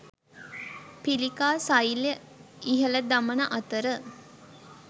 පිළිකා සෛල ඉහළ දමන අතර